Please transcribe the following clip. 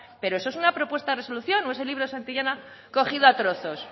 pero eso es una propuesta de resolución o es el libro de santillana cogido a trozos